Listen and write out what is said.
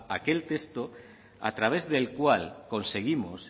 aquel texto a través del cual conseguimos